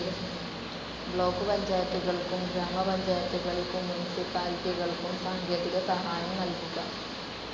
Block പഞ്ചായത്തുകൾക്കും ഗ്രാമപഞ്ചായത്തുകൾക്കും മുനിസിപ്പാലിറ്റികൾക്കും സാങ്കേതിക സഹായം നൽകുക.